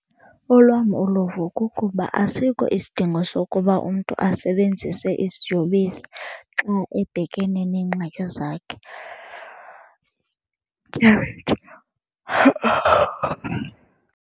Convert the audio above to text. Olwam uluvo kukuba asikho isidingo sokuba umntu asebenzise iziyobisi xa ebhekene neengxaki zakhe .